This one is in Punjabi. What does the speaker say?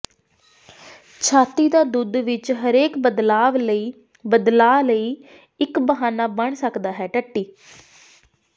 ਛਾਤੀ ਦਾ ਦੁੱਧ ਵਿੱਚ ਹਰੇਕ ਬਦਲਾਵ ਵਿੱਚ ਬਦਲਾਅ ਲਈ ਇੱਕ ਬਹਾਨਾ ਬਣ ਸਕਦਾ ਹੈ ਟੱਟੀ